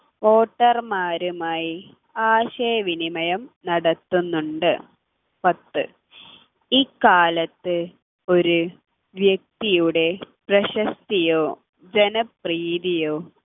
voter മാരുമായി ആശയവിനിമയം നടത്തുന്നുണ്ട് പത്ത് ഇക്കാലത്ത് ഒരു വ്യക്തിയുടെ പ്രശസ്തിയോ ജനപ്രീതിയോ